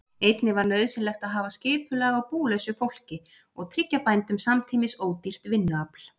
Einnig var nauðsynlegt að hafa skipulag á búlausu fólki og tryggja bændum samtímis ódýrt vinnuafl.